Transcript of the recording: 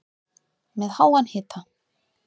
Með háan hita